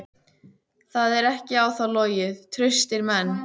Það er ekki á þá logið: traustir menn.